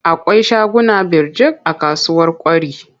Akwai shaguna birjik a kasuwar Kwari.